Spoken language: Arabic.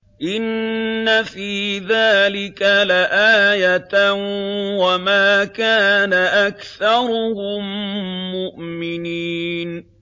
إِنَّ فِي ذَٰلِكَ لَآيَةً ۖ وَمَا كَانَ أَكْثَرُهُم مُّؤْمِنِينَ